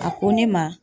A ko ne ma